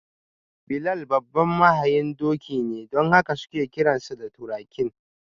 Bilal babban mahayin doki ne don haka suke kiransa da: ‘Turakin’.